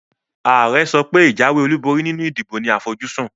Àare sopé ìjáwé olúborí nínu ìdìbò ní àfojúsún